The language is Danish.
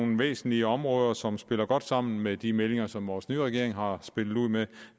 væsentlige områder som spiller godt sammen med de meldinger som vores nye regering har spillet ud med